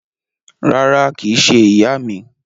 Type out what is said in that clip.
Rárá, kìí se ìyá mi